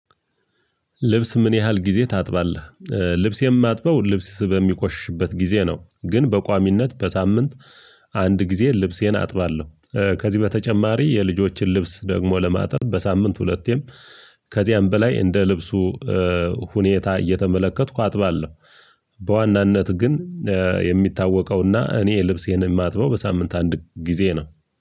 ልብስ ምን ያህል ጊዜ ታጥባለህ? ልብስ የማጥበው ልብስ በሚቆሽሽበት ጊዜ ነው ግን በቋሚነት በሳምንት አንድ ጊዜ ልብሴን አጥባለሁ። ከዚህ በተጨማሪ የልጆችን ልብስ ደግሞ ለማጠብ በሳምንት ሁለቴም ከዚያም በላይ እንደ ልብሱ ሁኔታ እየተመለከትኩ አጥባለሁ። በዋናነት ግን የሚታወቀውና እኔ ልብሴን የማጥበው በሳምንት አንድ ጊዜ ነው።